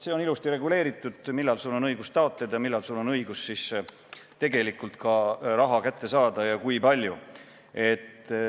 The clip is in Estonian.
" See on ilusti reguleeritud, millal sul on õigus taotleda ning millal sul on õigus ka tegelikult raha kätte saada ja kui palju.